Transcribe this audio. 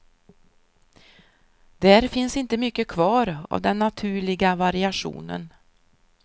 Där finns inte mycket kvar av den naturliga variationen.